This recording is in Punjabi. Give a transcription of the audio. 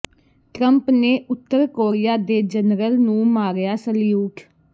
ਟਰੰਪ ਨੇ ਉਤਰ ਕੋਰੀਆ ਦੇ ਜਨਰਲ ਨੂੰ ਮਾਰਿਆ ਸਲਿਊਟ